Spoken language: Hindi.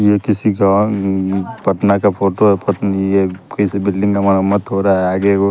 ये किसी गाँव अम्म्म पटना का फोटो है पता नी ये किसी बिल्डिंग का मरम्मत हो रहा है आगे वो --